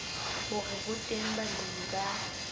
hore ho teng balemi ba